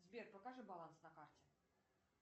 сбер покажи баланс на карте